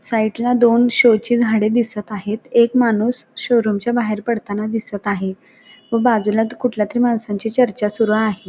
Site ला दोन show ची झाडे दिसत आहेत एक माणूस शोरूम च्या बाहेर पडताना दिसत आहे व बाजूला कुठल्या तरी माणसांची चर्चा सुरू आहे.